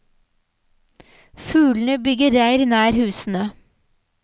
Fuglene bygger reir nær husene.